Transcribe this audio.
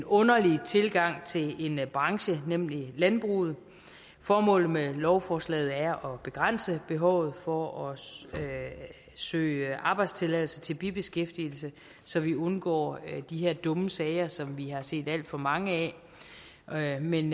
underlig tilgang til en branche nemlig landbruget formålet med lovforslaget er at begrænse behovet for at søge at søge arbejdstilladelse til bibeskæftigelse så vi undgår de her dumme sager som vi har set alt for mange af men